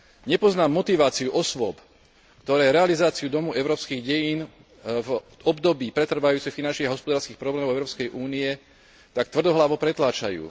Nepoznám motiváciu osôb, ktoré realizáciu Domu európskych dejín v období pretrvávajúcich finančných a hospodárskych problémov Európskej únie tak tvrdohlavo pretláčajú.